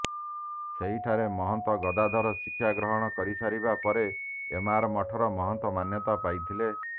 ସେହିଠାରେ ମହନ୍ତ ଗଦାଧର ଶିକ୍ଷାଗ୍ରହଣ କରିସାରିବା ପରେ ଏମାର ମଠର ମହନ୍ତ ମାନ୍ୟତା ପାଇଥିଲେ